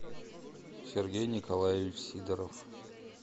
сергей николаевич сидоров